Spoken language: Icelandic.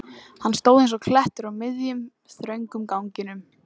Hann stóð eins og klettur á miðjum, þröngum ganginum.